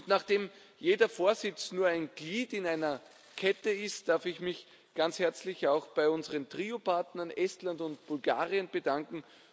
Nachdem jeder Vorsitz nur ein Glied in einer Kette ist, darf ich mich ganz herzlich auch bei unseren Trio Partnern Estland und Bulgarien bedanken.